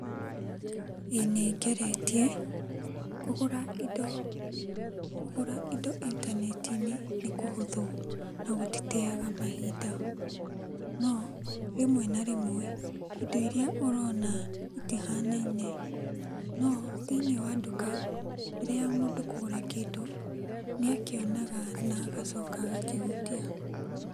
ĩĩ nĩngeretie. Kũgũra indo, kũgũra indo intaneti-inĩ nĩkũhũthũ nagũtiteaga mahinda. No, rĩmwe na rĩmwe , indo iria ũrona, itihanaine. No, thĩiniĩ wa nduka, mbere ya mũndũ kũgũra kĩndũ, nĩakĩonaga na agacoka agakĩhutia.